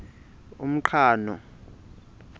umqhano